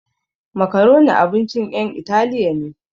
Macaroni abincin ƴan italiya ne